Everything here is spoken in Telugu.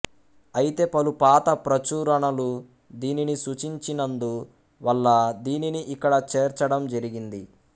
అయితే పలు పాత ప్రచురణలు దీనిని సూచించినందు వల్ల దీనిని ఇక్కడ చేర్చడం జరిగింది